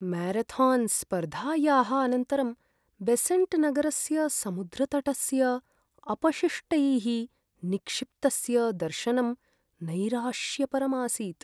म्यारथान्स्पर्धायाः अनन्तरं बेसेण्ट्नगरसमुद्रतटस्य अपशिष्टैः निक्षिप्तस्य दर्शनं नैराश्यपरम् आसीत्।